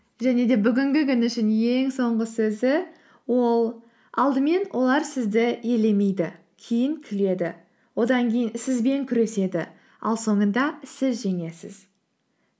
және де бүгінгі күн үшін ең соңғы сөзі ол алдымен олар сізді елемейді кейін күледі одан кейін сізбен күреседі ал соңында сіз жеңесіз